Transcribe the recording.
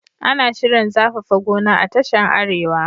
Ana shirin zafafa goma a tashan arewa